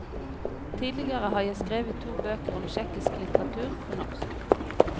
Tidligere har jeg skrevet to bøker om tsjekkisk litteratur på norsk.